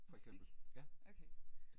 Musik? Okay